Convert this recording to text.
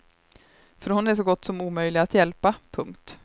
För hon är så gott som omöjlig att hjälpa. punkt